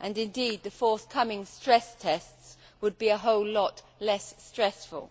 and, indeed, the forthcoming stress tests would be a whole lot less stressful.